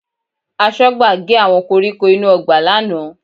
Aṣọ́gbà gé àwọn koríko inú ọgbà lánàá